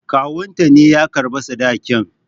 Kawunta ne ya karɓa sadakin.